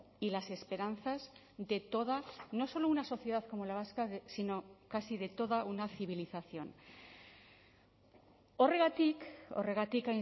y las esperanzas de toda no solo una sociedad como la vasca sino casi de toda una civilización horregatik horregatik